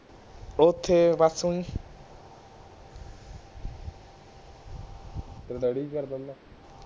ਤੇਰਾ ਕਿ ਕਰਦਾ ਹੁੰਦਾ